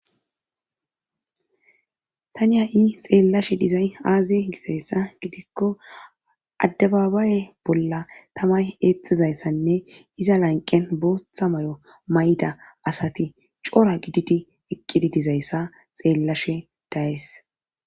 Tani ha7i xeellashe dizay aazi gisayssa gidikko addababaye bolla tamay eexizayssanne iza lanqen bootha may7o may7ida asati cora gididi eqqidi dizayssa xeellashe dayes.